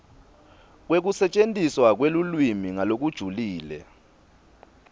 kwekusetjentiswa kwelulwimi ngalokujulile